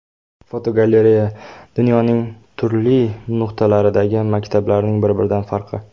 Fotogalereya: Dunyoning turli nuqtalaridagi maktablarning bir-biridan farqi.